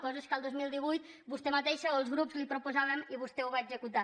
coses que el dos mil divuit vostè mateixa o els grups li proposàvem i vostè ho va executar